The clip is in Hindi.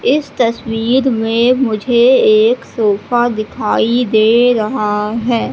इस तस्वीर में मुझे एक सोफा दिखाई दे रहा है।